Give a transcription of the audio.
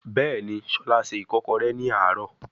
Bẹẹni, Shola ṣe ikokore ni aaro